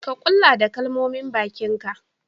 Ka Kulla da kalmomin bakin ka.